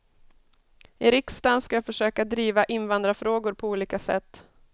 I riksdagen ska jag försöka driva invandrarfrågor på olika sätt.